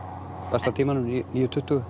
besta tímanum níu tuttugu